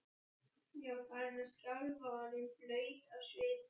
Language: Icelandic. Ég var farin að skjálfa og orðin blaut af svita.